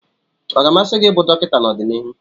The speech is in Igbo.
Ọ ga-amasị gị ịbụ dọkịta n'ọdịnihu?